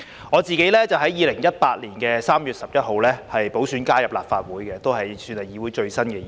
我自己是在2018年3月11日經補選加入立法會的，算是議會裏最新的議員。